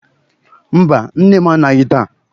Mba, nne m anaghị taa.